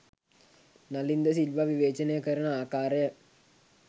නලින් ද සිල්වා විවේචනය කරන ආකාරය